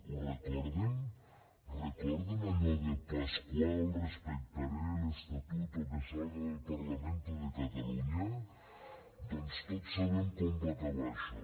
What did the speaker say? ho recorden recorden allò de pasqual respetaré el estatuto que salga del parlamento de cataluña doncs tots sabem com va acabar això